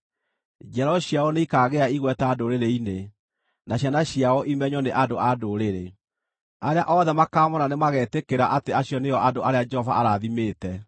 Njiaro ciao nĩikaagĩa igweta ndũrĩrĩ-inĩ, na ciana ciao imenywo nĩ andũ a ndũrĩrĩ. Arĩa othe makaamoona nĩmagetĩkĩra atĩ acio nĩo andũ arĩa Jehova arathimĩte.”